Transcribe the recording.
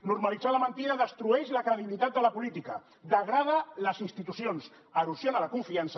normalitzar la mentida destrueix la credibilitat de la política degrada les institucions erosiona la confiança